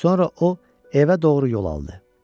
Sonra o evə doğru yol aldı.